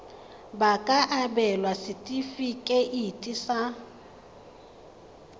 ba ka abelwa setefikeiti sa